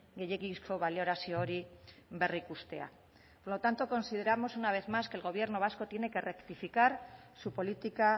gehiegizko balorazio hori berrikustea por lo tanto consideramos una vez más que el gobierno vasco tiene que rectificar su política